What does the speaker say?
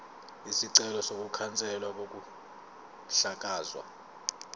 isicelo sokukhanselwa kokuhlakazwa